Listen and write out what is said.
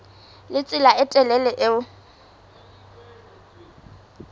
le tsela e telele eo